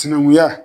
Sinankunya